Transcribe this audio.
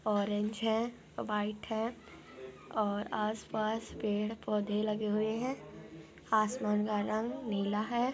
बस है। हाँ सवार हो के नहीं जा सकते। ऍम और ऍम है। फॅस और आस पास पहुँच लगे हुए हैं। मिला है।